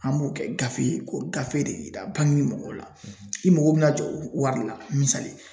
An b'o kɛ gafe ye, k'o gafe de yira bangi mɔgɔw la, i mago bɛ na jɔ wari de la. misali